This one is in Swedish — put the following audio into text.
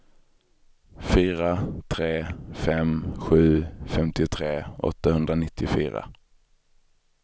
fyra tre fem sju femtiotre åttahundranittiofyra